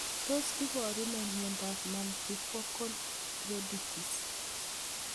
Tos iparu nee miondop multifocal choroiditis?